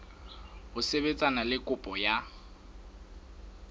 ho sebetsana le kopo ya